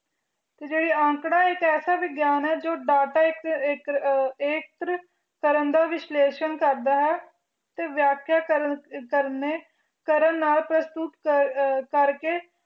ਹਨ ਜੀ ਜਿਵੇਂ ਅੰਕੜਾ ਉਹ ਵਿਗਿਆਨ ਹੈ ਜੋ data ਐਕਟ੍ਰਿਕ ਕਰਨ ਦਾ ਵਿਸ਼ਲਾਇਸ਼ਾਂ ਕਰਨ ਦਾ ਵਸਟਿਕ ਤੇ ਅਸ਼ਯੁਡ ਕਰਨ ਦਾ ਸਮੰਧ ਹੈ ਪਸ਼ੂਦ ਕਰਨ ਦਾ